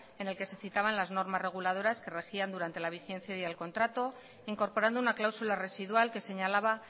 en el que se citaban las normas reguladoras que regían durante la vigencia del contrato incorporando una cláusula residual que señalaba